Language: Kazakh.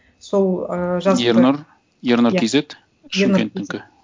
сол ы жазыпты ернұр ернұр кейзет иә шымкенттікі